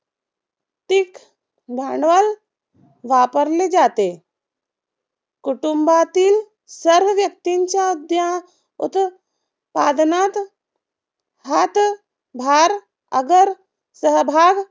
भांडवल वापरले जाते. कुटुंबातील सर्व व्यक्तींच्या उद्या उत्त पादनात हात भार अगर सहभाग